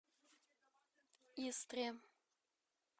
истре